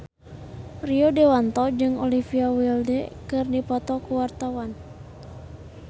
Rio Dewanto jeung Olivia Wilde keur dipoto ku wartawan